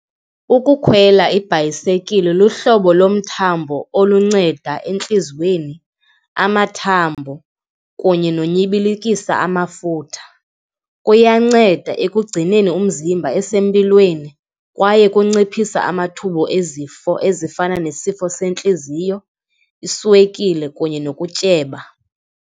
Ukukhwela ibhayisekile luhlobo lomthathambo olunceda entliziyweni, amathambo kunye nonyibikilisa amafutha. Kuyanceda ekugcineni umzimba esempilweni kwaye kunciphisa amathuba ezifo ezifana nesifo sentliziyo, iswekile kunye nokutyeba.